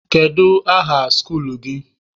Kedu aha skuluu gị?